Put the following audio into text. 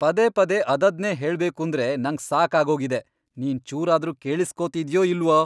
ಪದೇ ಪದೇ ಅದದ್ನೇ ಹೇಳ್ಬೇಕೂಂದ್ರೆ ನಂಗ್ ಸಾಕಾಗ್ಹೋಗಿದೆ. ನೀನ್ ಚೂರಾದ್ರೂ ಕೇಳಿಸ್ಕೊತಿದ್ಯೋ ಇಲ್ವೋ?